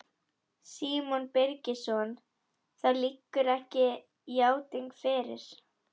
Símon Birgisson: Það liggur ekki játning fyrir?